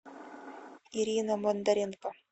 ирина бондаренко